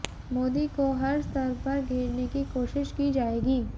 मोदी को हर स्तर पर घेरने की कोशिश की जाएगी